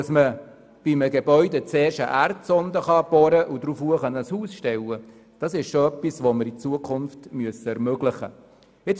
Dass man bei einem Gebäude zuerst eine Erdsonde bohren und ein Haus darauf stellen kann, ist etwas, das wir in Zukunft ermöglichen sollten.